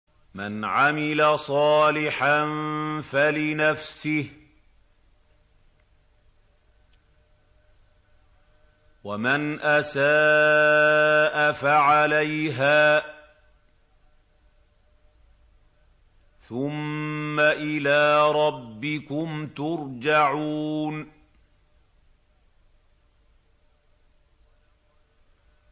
مَنْ عَمِلَ صَالِحًا فَلِنَفْسِهِ ۖ وَمَنْ أَسَاءَ فَعَلَيْهَا ۖ ثُمَّ إِلَىٰ رَبِّكُمْ تُرْجَعُونَ